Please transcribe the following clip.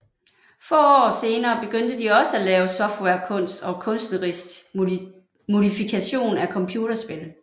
Få år senere begyndte de også at lave softwarekunst og kunstnerisk modifikation af computerspil